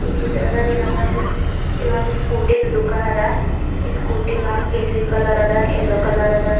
ಈ ಚಿತ್ರದಾಗ್ ಏನದ ಅಂದ್ರೆ ಇದೊಂದು ಸ್ಕೂಟಿದು ದುಃಖಾನ್ ಅದ ಈ ಸ್ಕೂಟಿ ಒಂದ್ ಕೇಶ್ರೀ ಕಲರ್ ಆದ ಎಲ್ಲೊ ಕಲರ್ ಅದ.